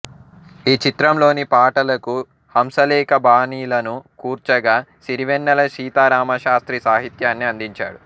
ఈ చిత్రంలోని పాటలకు హంసలేఖ బాణీలను కూర్చగా సిరివెన్నెల సీతారామశాస్త్రి సాహిత్యాన్ని అందించాడు